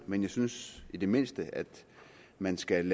men jeg synes i det mindste man skal